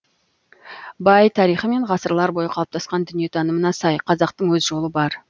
бай тарихы мен ғасырлар бойы қалыптасқан дүниетанымына сай қазақтың өз жолы бар